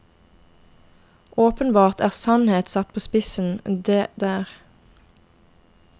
Åpenbart en sannhet satt på spissen, det der.